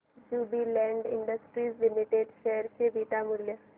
Jubilant Industries Limited share चे beta मूल्य